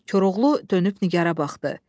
Koroğlu dönüb Nigarə baxdı.